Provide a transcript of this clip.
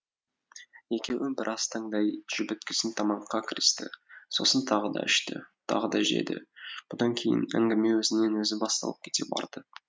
екеуі біраз таңдай жібіткесін тамаққа кірісті сосын тағы да ішті тағы да жеді бұдан кейін әңгіме өзінен өзі басталып кете барды